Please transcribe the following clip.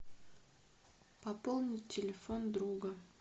пополнить телефон друга